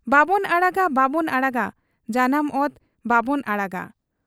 ᱵᱟᱵᱚᱱ ᱟᱲᱟᱜᱟ ᱵᱟᱵᱚᱱ ᱟᱲᱟᱜᱟ ᱾ ᱡᱟᱱᱟᱢ ᱚᱛ ᱵᱟᱵᱚᱱ ᱟᱲᱟᱜᱟ ᱾'